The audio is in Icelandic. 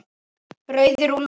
Rauðir úlfar